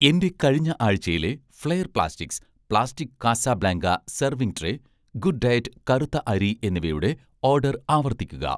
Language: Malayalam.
എന്‍റെ കഴിഞ്ഞ ആഴ്‌ചയിലെ 'flair plastics' plastic Casablanca serving tray, 'good diet' കറുത്ത അരി എന്നിവയുടെ ഓർഡർ ആവർത്തിക്കുക